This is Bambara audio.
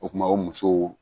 O kuma o musow